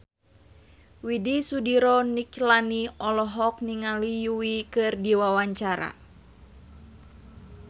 Widy Soediro Nichlany olohok ningali Yui keur diwawancara